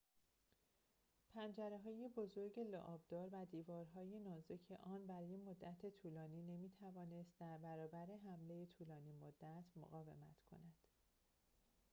پنجره‌های بزرگ لعاب‌دار و دیوارهای نازک آن برای مدت طولانی نمی‌توانست در برابر حمله طولانی‌مدت مقاومت کند